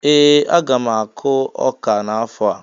Ee! Aga m akụ ọka n'afọ a.